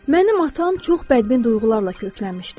Mənim atam çox bədbin duyğularla köklənmişdi.